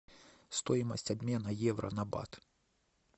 стоимость обмена евро на бат